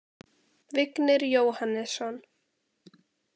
Vignir Jóhannesson